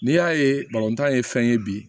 N'i y'a ye tan ye fɛn ye bi